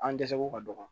An dɛsɛ ko ka dɔgɔ